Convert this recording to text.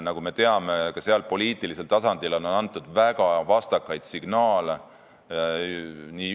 Nagu me teame, ka seal on poliitilisel tasandil antud väga vastakaid signaale.